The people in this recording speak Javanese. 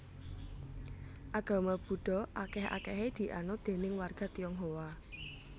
Agama Buddha akèh akèhé dianut déning warga Tionghoa